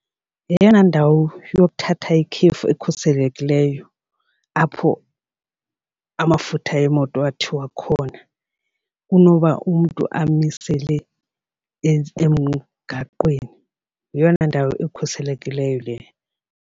Yeyona ndawo yokuthatha ikhefu ekhuselekileyo apho amafutha emoto athiwa khona kunoba umntu amisele emgaqweni. Yeyona ndawo ekhuselekileyo le.